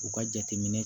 U ka jateminɛ